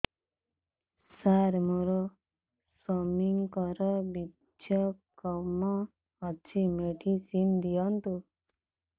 ସାର ମୋର ସ୍ୱାମୀଙ୍କର ବୀର୍ଯ୍ୟ କମ ଅଛି ମେଡିସିନ ଦିଅନ୍ତୁ